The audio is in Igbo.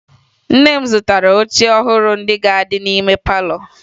Nne m zụtara oche ọhụrụ ndị ga-adị n'ime palọ